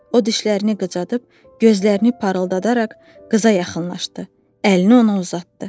O dişlərini qıcayıb, gözlərini parıldadaraq qıza yaxınlaşdı, əlini ona uzatdı.